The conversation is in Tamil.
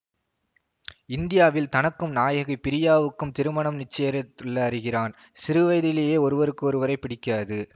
இந்தியாவில் தனக்கும் நாயகி பிரியாவுக்கும் திருமணம் நிச்சயரித்துள்ள அறிகிறான் சிறுவயதிலேயே ஒருவருக்கு ஒருவரை பிடிக்காது